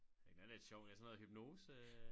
Den er lidt sjov ja sådan noget hypnose